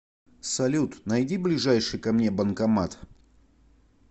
салют найди ближайший ко мне банкомат